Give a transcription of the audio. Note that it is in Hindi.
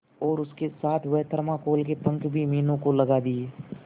और उसके साथ वह थर्माकोल के पंख भी मीनू को लगा दिए